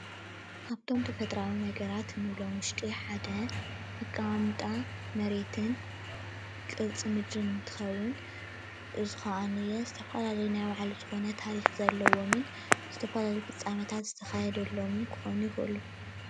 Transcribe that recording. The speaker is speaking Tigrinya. ካብቶም ተፈጥሮአዊ ነገራት እንብሎም ውሽጢ ሓደ አቀማምጣ መሬትን ቅርፂ ምድሪ እንትከውን እዙይ ከዓኒየአ ዝተፈላለዩ ናይ ባዕሉ ዝኮነ ታሪክ ዘለዎምን ዝተፈላለዩ ፍፃመታት ዝተካየደሎምን ክኮኑ ይክእሉ።